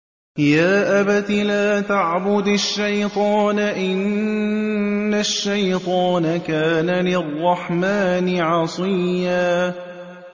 يَا أَبَتِ لَا تَعْبُدِ الشَّيْطَانَ ۖ إِنَّ الشَّيْطَانَ كَانَ لِلرَّحْمَٰنِ عَصِيًّا